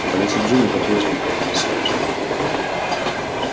по лицу джинни по-прежнему катились слезы